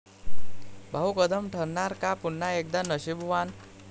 भाऊ कदम ठरणार का पुन्हा एकदा 'नशीबवान'?